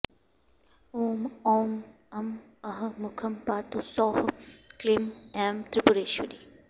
ॐ औं अं अः मुखं पातु सौः क्लीं ऐं त्रिपुरेश्वरी